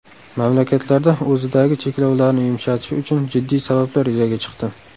Mamlakatlarda o‘zidagi cheklovlarni yumshatishi uchun jiddiy sabablar yuzaga chiqdi.